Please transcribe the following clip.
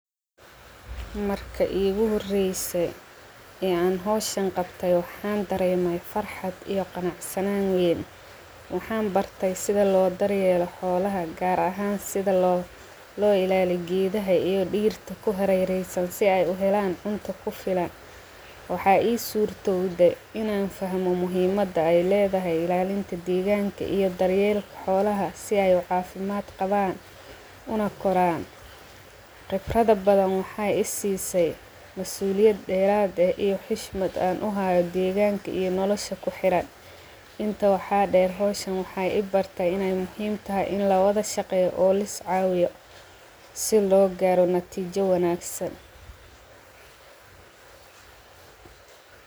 Marka igu horreeyay ee aan hooshaan qabtay. Waxaan dareemay farxad iyo qanacsanan. Waxaan bartay sida loo daryeelo xoolaha, gaar ahaan sida loo loo ilaali giidahay iyo dhiirto ku harereysan si ay u helaan cunto ku filan. Waxaa ii suurto uday in aan fahmo muhiimada ay leedahay ilaalinta diigaanka iyo daryeelo xoolaha si ay waqoofimaad qabaan una koran. Qibrada badan waxay isii say masuuliyad dheeraad ah iyo xishmad aan u hayo diigaanka iyo nolosha ku xiraan. Inta waxaa dhay rooshan, waxay ibartay in muhiim tahay in la wada shaqeeyo oo la caawiyo si loo gaaro natiijo wanaagsan.